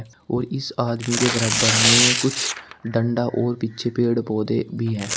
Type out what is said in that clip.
और इस आदमी के बराबर में कुछ डंडा और पीछे पेड़ पौधे भी है।